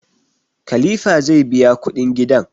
Kalifa zai biya kudin gidan